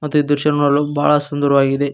ಈ ದೃಶ್ಯ ನೋಡಲು ಬಹಳ ಸುಂದರವಾಗಿದೆ.